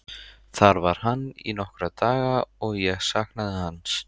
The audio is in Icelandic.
Þar var hann í nokkra daga og ég saknaði hans.